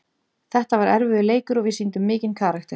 Þetta var erfiður leikur og við sýndum mikinn karakter.